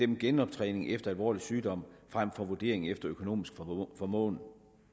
dem genoptræning efter alvorlig sygdom frem for vurdering efter økonomisk formåen